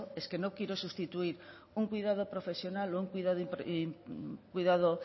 es que no quiero sustituir un cuidado profesional o un cuidado